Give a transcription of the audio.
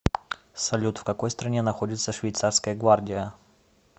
салют в какой стране находится швейцарская гвардия